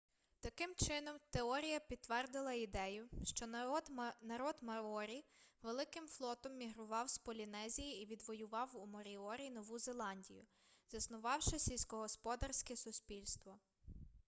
таким чином теорія підтвердила ідею що народ маорі великим флотом мігрував з полінезії і відвоював у моріорі нову зеландію заснувавши сільськогосподарське суспільство